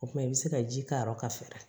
O kumana i bɛ se ka ji k'a rɔ ka fara